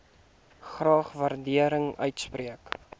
graag waardering uitspreek